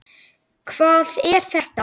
Hvað er þetta?